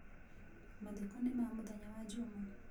Mathiko nĩ ma mũthenya wa njuma.